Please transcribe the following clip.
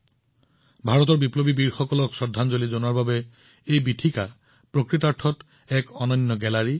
ভাৰতৰ সাহসী বিপ্লৱীসকলক শ্ৰদ্ধাঞ্জলি জনোৱাৰ বাবে ই স্বয়ং এক অতি অনন্য গেলেৰী